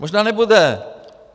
Možná nebude.